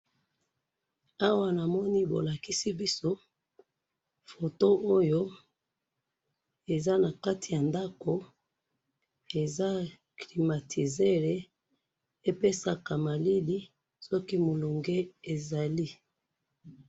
awa namoni bolakisi biso photo oyo eza na kati ya ndaku eza climatiseur epesaka malili soki molunge ezali